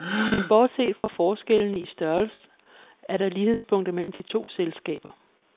Men bortset fra forskellene i størrelse er der lighedspunkter mellem de to selskaber.